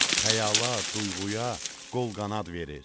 Xəyala, duyğuya qol qanad verir.